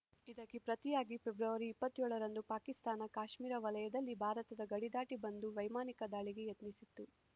ಇದಕ್ಕೆ ಪ್ರತಿಯಾಗಿ ಫೆಬ್ರವರಿ ಇಪ್ಪತ್ಯೋಳರಂದು ಪಾಕಿಸ್ತಾನ ಕಾಶ್ಮೀರ ವಲಯದಲ್ಲಿ ಭಾರತದ ಗಡಿದಾಟಿ ಬಂದು ವೈಮಾನಿಕ ದಾಳಿಗೆ ಯತ್ನಿಸಿತ್ತು